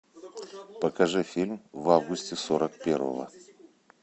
покажи фильм в августе сорок первого